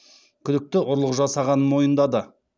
күдікті ұрлық жасағанын мойындады